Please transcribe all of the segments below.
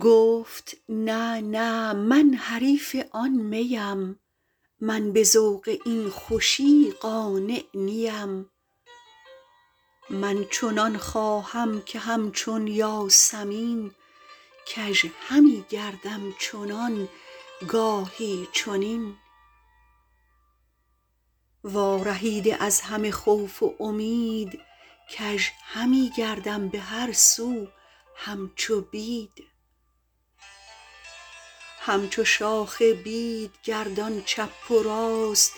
گفت نه نه من حریف آن میم من به ذوق این خوشی قانع نیم من چنان خواهم که هم چون یاسمین کژ همی گردم چنان گاهی چنین وارهیده از همه خوف و امید کژ همی گردم بهر سو هم چو بید هم چو شاخ بید گردان چپ و راست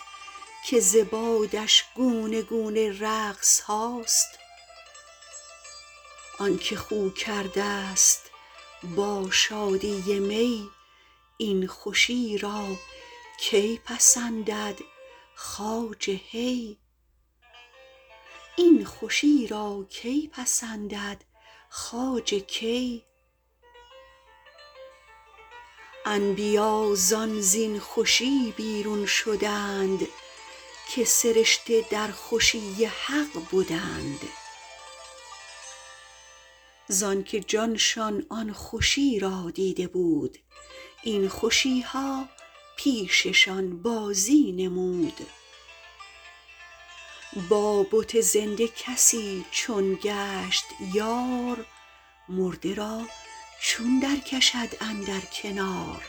که ز بادش گونه گونه رقصهاست آنک خو کردست با شادی می این خوشی را کی پسندد خواجه کی انبیا زان زین خوشی بیرون شدند که سرشته در خوشی حق بدند زانک جانشان آن خوشی را دیده بود این خوشیها پیششان بازی نمود با بت زنده کسی چون گشت یار مرده را چون در کشد اندر کنار